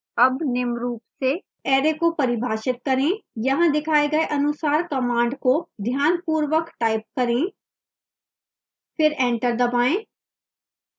अब निम्न रूप से array का परिभाषित करें यहाँ दिखाए गए अनुसार command को ध्यानपूर्वक type करें फिर एंटर दबाएं